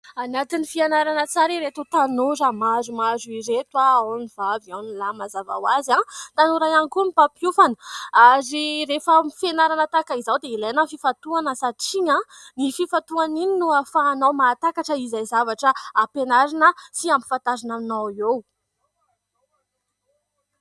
Anatin'ny fianarana tsara ireto tanora maromaro ireto, ao ny vavy ao ny lahy mazava hoazy. Tanora ihany koa ny mpampiofana ary rehefa amin'ny fianarana tahaka izao dia ilaina ny fifantohana satria iny fifantohana iny no hafahanao mahatakatra izay zavatra hampianarina sy hampifantarina anao eo.